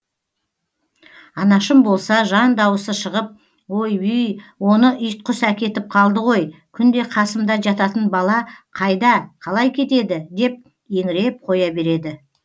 анашым болса жан дауысы шығып ойбүй оны итқұс әкетіп қалды ғой күнде қасымда жататын бала қайда қалай кетеді деп еңіреп қоя береді